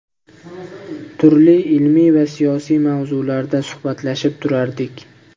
Turli ilmiy va siyosiy mavzularda suhbatlashib turardik.